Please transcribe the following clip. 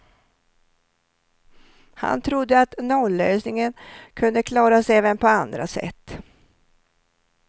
Han trodde att nollösningen kunde klaras även på andra sätt.